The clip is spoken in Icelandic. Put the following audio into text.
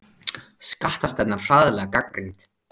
Skattastefnan harðlega gagnrýnd